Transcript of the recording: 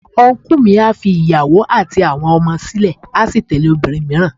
Ọnkú mi a fi ìyàwó àti àwọn ọmọ sílè a sì tẹ̀lé obìnrin mìíràn.